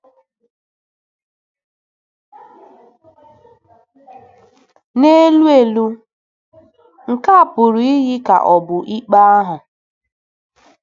N'elu elu, nke a pụrụ iyi ka ọ bụ ikpe ahụ.